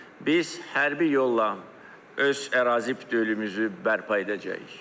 biz hərbi yolla öz ərazi bütövlüyümüzü bərpa edəcəyik.